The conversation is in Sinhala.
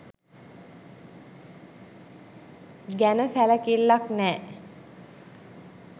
ගැන සැලකිල්ලක් නෑ